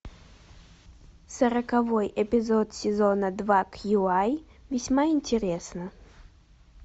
сороковой эпизод сезона два кью ай весьма интересно